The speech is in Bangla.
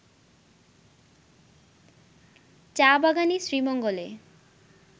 চা-বাগানই শ্রীমঙ্গলে